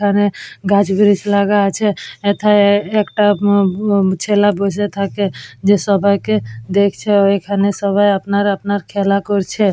এখানে গাছবরিচ লাগা আছে এথায় এ একটা মমমম ছেলে বসে থাকে যে সবাইকে দেখছে আবার এখানে সবাই আপনার আপনার খেলা করছে।